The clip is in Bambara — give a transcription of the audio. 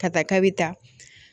Ka taa k'a bɛ taa